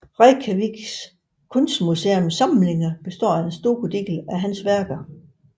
Reykjavik kunstmuseums samlinger består for en stor del af værker af ham